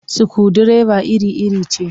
Sukundireba iri-iri ce